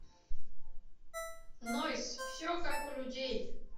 нойз все как у людей